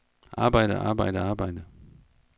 arbejde arbejde arbejde